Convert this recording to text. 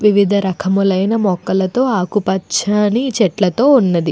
వివిధ రకములైన మొక్కలతో ఆకుపచ్చని చెట్లతో ఉన్నది.